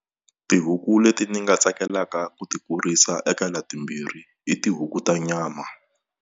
Tihuku leti ni nga tsakelaka ku ti kurisa eka la timbirhi i tihuku ta nyama.